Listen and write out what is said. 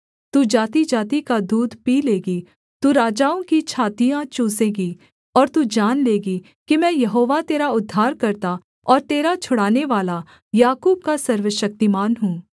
तू जातिजाति का दूध पी लेगी तू राजाओं की छातियाँ चूसेगी और तू जान लेगी कि मैं यहोवा तेरा उद्धारकर्ता और तेरा छुड़ानेवाला याकूब का सर्वशक्तिमान हूँ